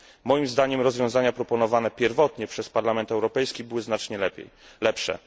Moim zdaniem rozwiązania proponowane pierwotnie przez Parlament Europejski były znacznie lepsze.